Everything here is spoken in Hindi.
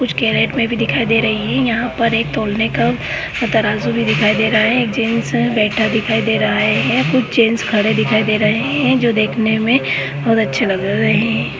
कुछ कैरेट मे भी दिखाई दे रहा है यहाँ पर एक तौलने का तराजु भी दिखाई दे रहा है एक जेन्ट्स बैठा दिखाई दे रहा है कुछ जेन्ट्स खड़े दिखाई दे रहे है जो देखने मे बहुत अच्छा लग रहा है।